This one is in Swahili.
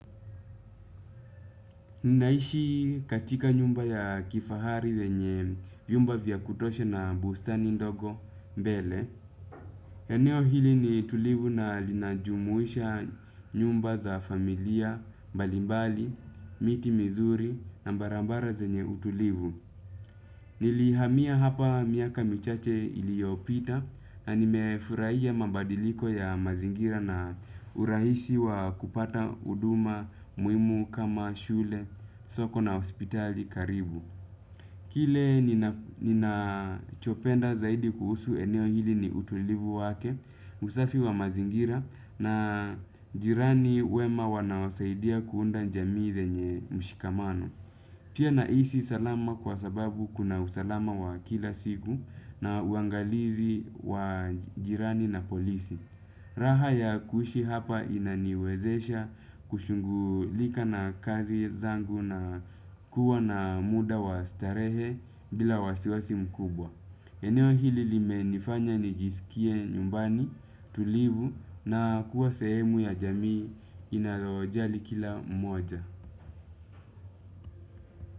Ninaishi katika nyumba ya kifahari yenye vyumba vya kutosha na bustani ndogo mbele. Aneo hili ni tulivu na linajumuisha nyumba za familia mbalimbali miti mizuri na barabara zenye utulivu. Nilihamia hapa miaka michache iliopita na nimefurahiya mabadiliko ya mazingira na urahisi wa kupata huduma muhimu kama shule soko na hospitali karibu. Kile ninachopenda zaidi kuhusu eneo hili ni utulivu wake, usafi wa mazingira na jirani wema wanaosaidia kuunda jamii yenye mshikamano. Pia nahisi salama kwa sababu kuna usalama wa kila siku na uangalizi wa jirani na polisi. Raha ya kuhishi hapa inaniwezesha kushungulika na kazi zangu na kuwa na muda wa starehe bila wasiwasi mkubwa. Eneo hili limenifanya nijisikie nyumbani tulivu na kuwa sehemu ya jamii inayojali kila mmoja.